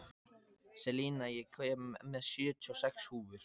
Selina, ég kom með sjötíu og sex húfur!